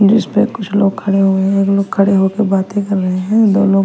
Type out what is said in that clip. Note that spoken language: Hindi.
जिसपे कुछ लोग खड़े हुए एक लोग खड़े होके बातें कर रहे हैं दो लोग--